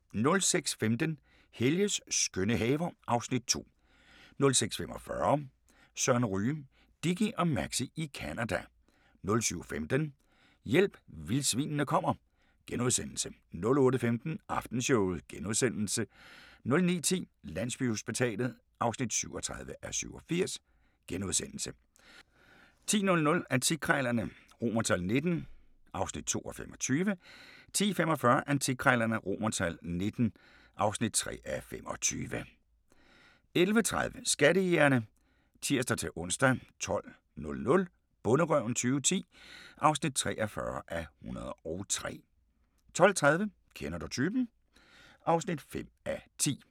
06:15: Helges skønne haver (Afs. 2) 06:45: Søren Ryge: Dickie og Maxie i Canada 07:15: Hjælp, vildsvinene kommer * 08:15: Aftenshowet * 09:10: Landsbyhospitalet (37:87)* 10:00: Antikkrejlerne XVIIII (2:25) 10:45: Antikkrejlerne XVIIII (3:25) 11:30: Skattejægerne (tir-ons) 12:00: Bonderøven 2010 (43:103) 12:30: Kender du typen? (5:10)